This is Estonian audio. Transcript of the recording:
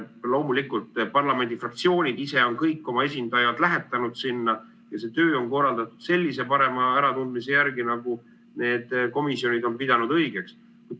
Loomulikult, parlamendi fraktsioonid ise on kõik oma esindajad sinna lähetanud ja see töö on korraldatud sellise parema äratundmise järgi, nagu need komisjonid on pidanud õigeks.